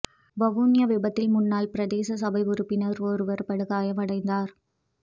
வவுனியா விபத்தில் முன்னாள் பிரதேச சபை உறுப்பினர் ஒருவர் படுகாயமடைந்தார்